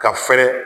Ka fɛrɛ